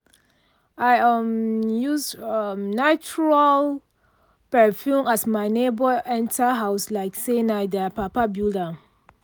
i um use um neutral um perfume as my neighbour enter house like say na their papa build am.